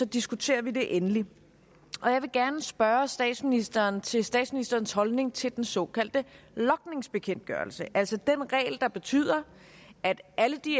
diskuterer vi det endelig jeg vil gerne spørge statsministeren til statsministerens holdning til den såkaldte logningsbekendtgørelse altså den regel der betyder at alle de